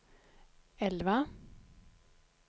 elva